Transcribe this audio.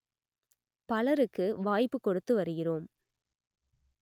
பலருக்கு வாய்ப்பு கொடுத்து வருகிறோம்